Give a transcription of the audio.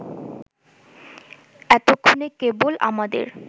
এক্ষণে কেবল আমাদের